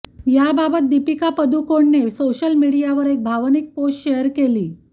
याबाबत दीपिका पादूकोणने सोशल मीडियावर एक भावनिक पोस्ट शेअर केली